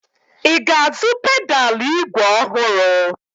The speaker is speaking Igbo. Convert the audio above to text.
I ga-azụ pedalụ ígwè ọhụrụ?